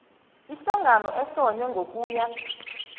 ihlangano ehlonywe ngokuya